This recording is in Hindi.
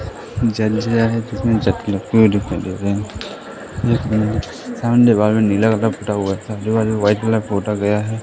वाइट कलर पोता गया है।